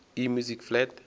e music flat